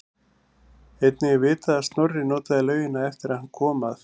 Einnig er vitað að Snorri notaði laugina eftir að hann kom að